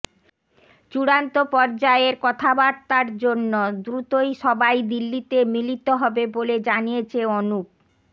চূড়ান্ত পর্যায়ের কথাবার্তার জন্য দ্রুতই সবাই দিল্লিতে মিলিত হবে বলে জানিয়েছে অনুপ